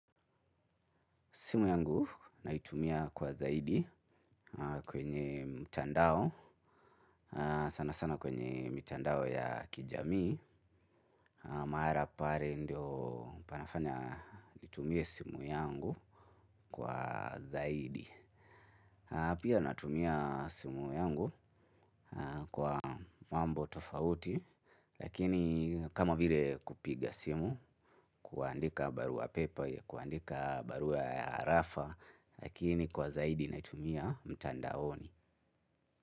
Simu yangu naitumia kwa zaidi, kwenye mtandao, sana sana kwenye mitandao ya kijamii, maara pare ndio panafanya nitumie simu yangu kwa zaidi. Pia natumia simu yangu, kwa mambo tofauti lakini kama vile kupiga simu, kuandika barua pepe, kuandika barua arafa lakini kwa zaidi natumia mitandaoni.